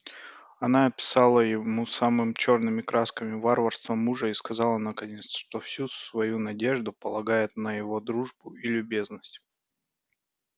она описала ему самым чёрными красками варварство мужа и сказала наконец что всю свою надежду полагает на его дружбу и любезность